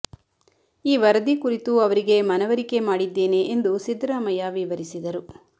ಈ ವರದಿ ಕುರಿತು ಅವರಿಗೆ ಮನವರಿಕೆ ಮಾಡಿದ್ದೇನೆ ಎಂದು ಸಿದ್ದರಾಮಯ್ಯ ವಿವರಿಸಿದರು